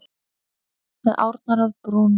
Með árnar að brún.